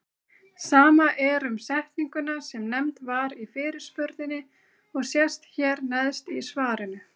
Sama er um setninguna sem nefnd var í fyrirspurninni og sést hér neðst í svarinu.